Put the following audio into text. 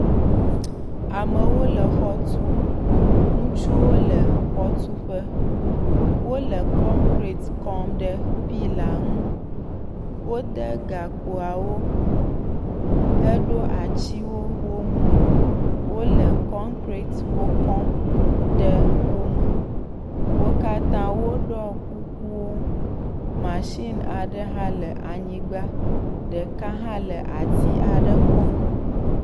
Amewo le xɔ tum. Ŋutsuwo le xɔtuƒe. wole kɔnkrɛt kɔm ɖe pila ŋu. Wode gakpoawo heɖo atiwo wo ŋu. Wole kɔkrɛtiwo kɔm ɖe wo me. Wo katã wo ɖɔ kukuwo. Masini aɖe hã le anyigba. Ɖeka ɖe hã le ati aɖe kɔm.